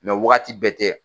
Mais wagati bɛɛ tɛ